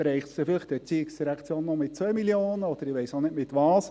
Dann trifft es die ERZ vielleicht noch mit 2 Mio. Franken oder mit was auch immer.